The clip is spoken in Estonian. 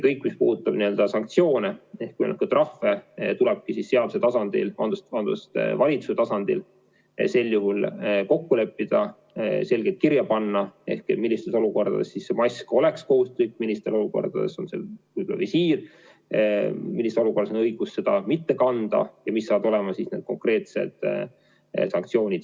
Kõik, mis puudutab sanktsioone ja trahve, tulebki valitsuse tasandil sel juhul kokku leppida, selgelt kirja panna, millistes olukordades mask on kohustuslik, millistes olukordades on see visiir, millises olukorras on õigus seda mitte kanda ja mis saavad olema konkreetsed sanktsioonid.